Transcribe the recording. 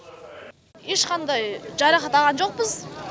ешқандай жарақат алған жоқпыз